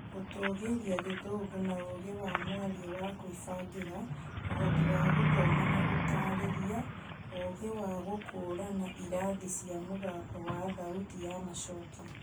Gũtũgĩria gĩthũngũ na ũgĩ wa mwario wa Kĩmbangira, ũhoti wa gũthoma na gũtarĩria, ũgĩ wa gũkũrana irathi cia mũgambo wa thauti ya macokio